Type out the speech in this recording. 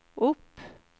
opp